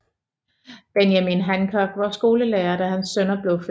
Benjamin Hancock var skolelærer da hans sønner blev født